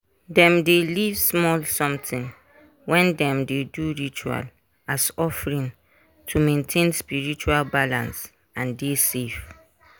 dem dey leave small sometin when dem dey do ritual as offering to maintain spiritual balance and dey safe